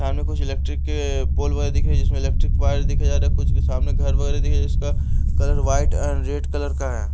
सामने कुछ इलेक्ट्रिक के पोल वगैरह दिख रहे जिसमें इलेक्ट्रिक वायर देखे जा रहे कुछ के सामने घर वगैरह देखे जिसका colour white and red colour का है।